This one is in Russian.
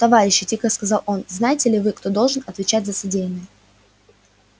товарищи тихо сказал он знаете ли вы кто должен отвечать за содеянное